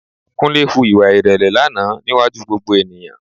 Kúnlé hu ìwà ìrẹ̀lẹ̀ lánàá níwájú gbogbo ènìyàn